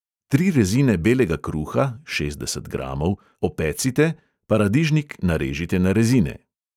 Tri rezine belega kruha (šestdeset gramov) opecite, paradižnik narežite na rezine.